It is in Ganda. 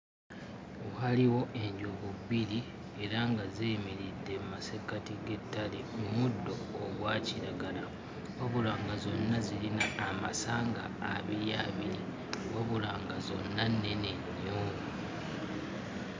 Waaliwo enjovu bbiri era nga ziyimiridde mu masekkati g'ettale mu muddo ogwa kiragala. Wabula nga zonna zirina amasanga abiri abiri, wabula nga zonna nnene nnyo.